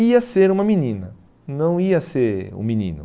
ia ser uma menina, não ia ser um menino.